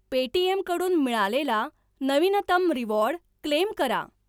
Paytm कडून मिळालेला नवीनतम रिवॉर्ड क्लेम करा.